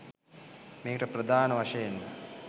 මේකට ප්‍රධාන වශයෙන්ම